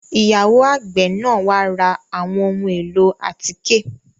Ìyàwo àgbe náa wa lati ra awọn ohun elo atike